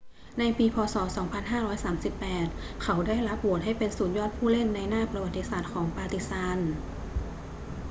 ในปี พ. ศ. 2538 เขาได้รับโหวตให้เป็นสุดยอดผู้เล่นในหน้าประวัติศาสตร์ของปาร์ติซาน